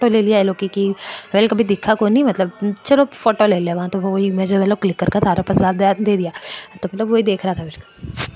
दिखा कोनी मतलब चलो फोटो ले लेवा --